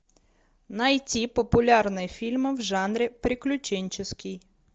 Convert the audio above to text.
найти популярные фильмы в жанре приключенческий